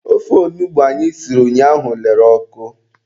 Ofe onugbu anyị siri ụnyaahụ lere ọkụ.